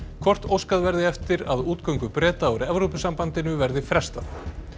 hvort óskað verði eftir að útgöngu Breta úr Evrópusambandinu verði frestað